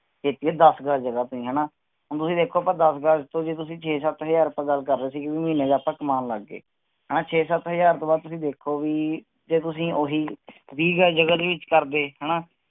ਇਕ ਇਹ ਦਸ ਗਜ ਜਗਾਹ ਤੇ ਹਣਾ ਹੁਣ ਤੁਸੀਂ ਦੇਖੋ ਜੇ ਅੱਪਾਂ ਦਸ ਗਜ ਹਜ਼ਾਰ ਤੋਂ ਆਪਾਂ ਛੇ -ਸਤ ਹਜ਼ਾਰ ਆਪਾਂ ਗਲ ਕਰ ਰਹੇ ਸੀ ਕੀ ਮਹੀਨੇ ਦਾ ਆਪਾ ਕਮਾਨ ਲੱਗ ਗਏ ਹਣਾ ਛੇ -ਸਤ ਹਾਜ਼ਰ ਤੋਂ ਬਾਅਦ ਤੁਸੀਂ ਦੇਖਿਓ ਕਿ ਜੇ ਤੁਸੀ ਉਹੀ ਵੀਹ ਗਜ ਜਗਾਹ ਦੇ ਵਿਚ ਕਰਦੇ ਹਣਾ